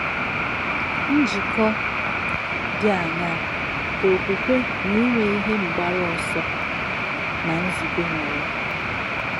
Njíkò dì àṅáà kà òkwùkwè nà ínwè ìhè mgbárù òsọ̀ nà nzùbè nwèrè?